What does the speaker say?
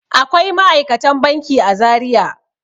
Akwai ma'aikatan banki a Zariya.